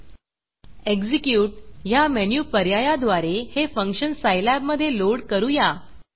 execute ह्या menu पर्यायाद्वारे हे फंक्शन सायलॅब मधे लोड करूया